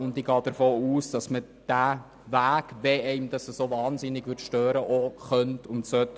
Ich gehe davon aus, dass man diesen Weg auch beschreiten kann und soll.